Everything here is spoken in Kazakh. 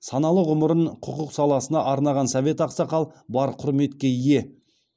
саналы ғұмырын құқық саласына арнаған совет ақсақал бар құрметке ие